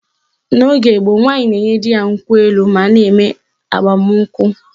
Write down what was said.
N'oge gboo, nwaanyị na-enye di ya nkwụ elu ma a na-eme agbamụnkwụ